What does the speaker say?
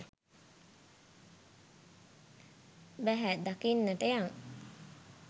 බැහැ දකින්නට යං.